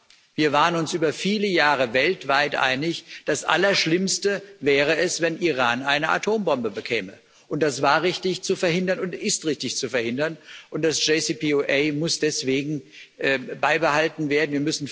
Aber Wir waren uns über viele Jahre weltweit einig, das Allerschlimmste wäre es, wenn Iran eine Atombombe bekäme, und das war richtig zu verhindern und ist richtig zu verhindern, und das JCPOA muss deswegen beibehalten werden.